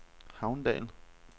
Havndal